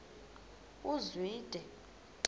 uzwide